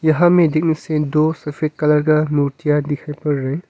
यहा में दिन सेन दो सफेद कलर का मूर्तियां दिखाई पड़ रहा है।